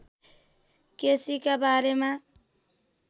केसीका बारेमा